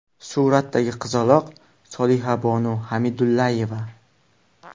Suratdagi qizaloq Solihabonu Xamidulayeva.